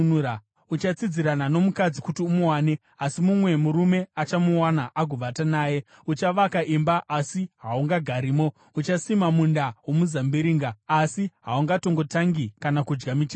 Uchatsidzirana nomukadzi kuti umuwane, asi mumwe murume achamuwana agovata naye. Uchavaka imba asi haungagarimo. Uchasima munda womuzambiringa asi haungatongotangi kana kudya michero yawo.